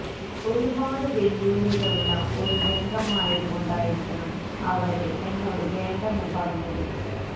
ഒരുപാട് വെല്ലുവിളികളുള്ള ഒരു രംഗമായത് കൊണ്ടായിരിക്കണം അവര് എന്നോട് വേണ്ടെന്ന് പറഞ്ഞത്